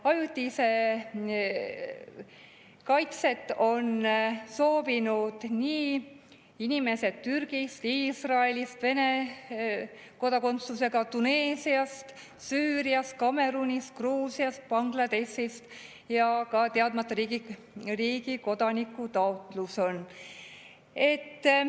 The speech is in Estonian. Ajutist kaitset on soovinud inimesed Türgist, Iisraelist, Vene kodakondsusega, Tuneesiast, Süüriast, Kamerunist, Gruusiast, Bangladeshist ja ka ühe teadmata riigi kodaniku taotlus on.